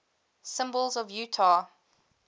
symbols of utah